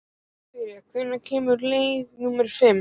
Bjarný, hvenær kemur leið númer fimm?